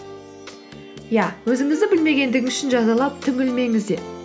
иә өзіңізді білмегендігіңіз үшін жазалап түңілмеңіз де